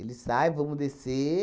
sai, vamos descer.